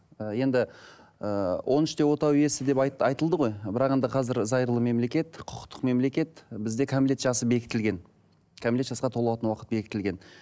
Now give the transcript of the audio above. ы енді ыыы он үште отау иесі деп айтылды ғой бірақ енді қазір зайырлы мемлекет құқықтық мемлекет бізде кәмелет жасы бекітілген кәмелет жасқа толатын уақыт бекітілген